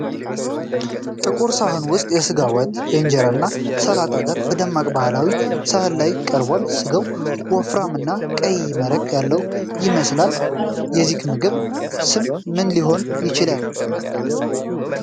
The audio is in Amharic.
ጥቁር ሳህን ውስጥ የሥጋ ወጥ ከእንጀራ እና ሰላጣ ጋር በደማቅ ባህላዊ ሳህን ላይ ቀርቧል። ሥጋው ወፍራምና ቀይ መረቅ ያለው ይመስላል። የዚህ ምግብ ስም ምን ሊሆን ይችላል?